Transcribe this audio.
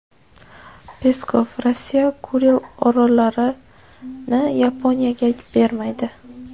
Peskov: Rossiya Kuril orollarini Yaponiyaga bermaydi.